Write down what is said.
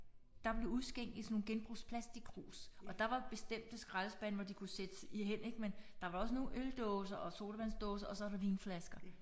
Der blev udskænk i sådan nogle genbrugsplastikkrus og der var bestemte skraldespande hvor de kunne sættes i hen ik men der var også nogle øldåser og sodavandsdåser og så var der vinflasker